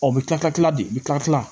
O bɛ tila ka tila de bi kila kilan